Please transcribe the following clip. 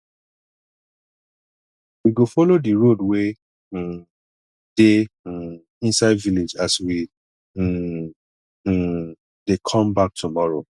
we go folo di road wey um dey um inside village as we um um dey come back tomorrow